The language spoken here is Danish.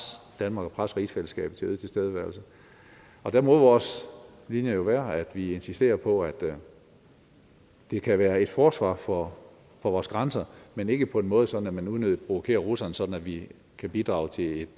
danmark og presse rigsfællesskabet til øget tilstedeværelse og der må vores linje jo være at vi insisterer på at det kan være et forsvar for vores grænser men ikke på en måde så man unødigt provokerer russerne sådan at vi bidrager til et